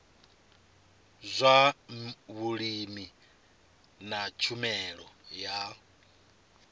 zwa vhulimi na tshumelo ya